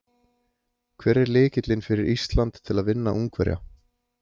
Hver er lykillinn fyrir Ísland til að vinna Ungverja?